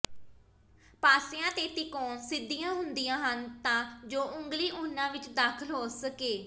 ਪਾਸਿਆਂ ਤੇ ਤਿਕੋਣ ਸਿੱਧੀਆਂ ਹੁੰਦੀਆਂ ਹਨ ਤਾਂ ਜੋ ਉਂਗਲੀ ਉਹਨਾਂ ਵਿੱਚ ਦਾਖ਼ਲ ਹੋ ਸਕੇ